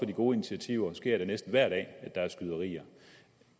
de gode initiativer sker det næsten hver dag at der er skyderier